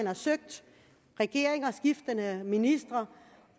har søgt regering og skiftende ministre